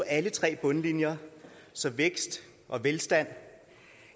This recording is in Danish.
alle tre bundlinjer så vækst og velstand